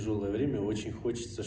тяжёлое время очень хочется